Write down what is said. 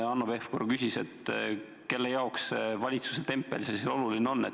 Hanno Pevkur küsis, kelle jaoks see valitsuse tempel oluline on.